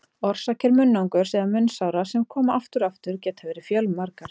Orsakir munnangurs eða munnsára sem koma aftur og aftur geta verið fjölmargar.